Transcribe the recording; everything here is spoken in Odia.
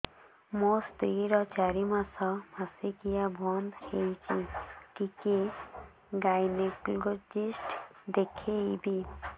ମୋ ସ୍ତ୍ରୀ ର ଚାରି ମାସ ମାସିକିଆ ବନ୍ଦ ହେଇଛି ଟିକେ ଗାଇନେକୋଲୋଜିଷ୍ଟ ଦେଖେଇବି